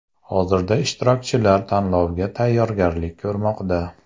Hozirda ishtirokchilar tanlovga tayyorgarlik ko‘rmoqda.